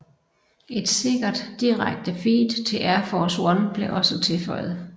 Et sikkert direkte feed til Air Force One blev også tilføjet